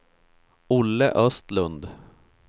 Olle Östlund